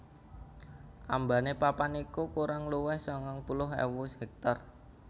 Ambane papan iki kurang luwih sangang puluh ewu hektar